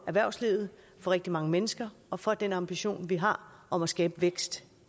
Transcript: erhvervslivet rigtig mange mennesker og for den ambition vi har om at skabe vækst